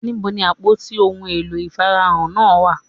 Níbo ni àpótí ohun èlò ìfaná náà wà